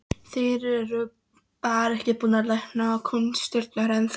Þeir eru bara ekki búnir að læra kúnstirnar ennþá.